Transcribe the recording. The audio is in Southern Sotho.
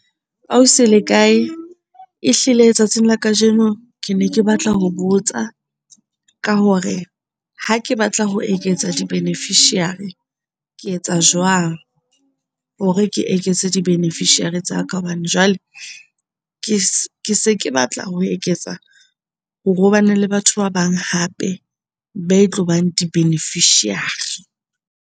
Ausi le kae? Ehlile tsatsing la kajeno kene ke batla ho botsa ka hore ha ke batla ho eketsa di-beneficiary ke etsa jwang hore ke eketse di beneficiary tsa ka? Hobane jwale ke ke se ke se ke batla ho eketsa hore ho bane le batho ba bang hape be tlobang di-beneficiary.